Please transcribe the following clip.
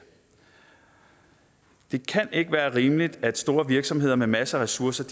det kan ikke være rimeligt at store virksomheder med masser af ressourcer